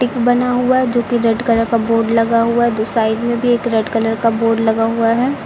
बना हुआ जो कि रेड कलर का बोर्ड लगा हुआ दु साइड में भी एक रेड कलर का बोर्ड लगा हुआ है।